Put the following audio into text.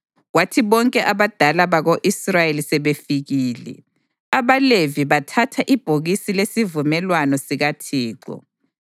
Kwathi bonke abadala bako-Israyeli sebefikile, abaLevi bathatha ibhokisi lesivumelwano sikaThixo,